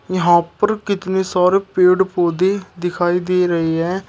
यहां पर कितने सारे पेड़ पौधे दिखाई दे रहे हैं।